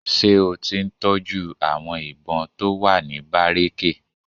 Ṣé o ti ń tọ́jú àwọn ìbọn tó wà ní bárékè?